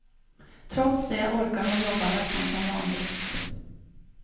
Trots det orkar hon jobba nästan som vanligt.